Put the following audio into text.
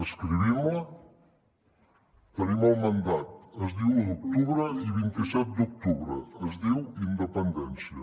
escriguem la tenim el mandat es diu un d’octubre i vint set d’octubre es diu independència